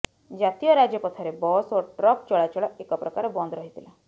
ଜାତୀୟ ରାଜପଥରେ ବସ୍ ଓ ଟ୍ରକ୍ ଚଳାଚଳ ଏକ ପ୍ରକାର ବନ୍ଦ ରହିଥିଲା